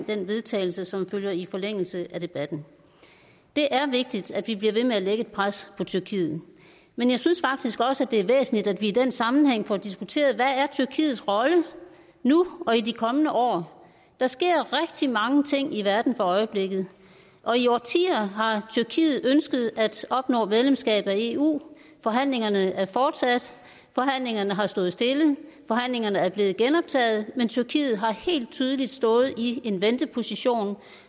til vedtagelse som følger i forlængelse af debatten det er vigtigt at vi bliver ved med at lægge et pres på tyrkiet men jeg synes faktisk også det er væsentligt at vi i den sammenhæng får diskuteret hvad tyrkiets rolle er nu og i de kommende år der sker rigtig mange ting i verden for øjeblikket og i årtier har tyrkiet ønsket at opnå medlemskab af eu forhandlingerne er fortsat forhandlingerne har stået stille forhandlingerne er blevet genoptaget men tyrkiet har helt tydeligt stået i en venteposition og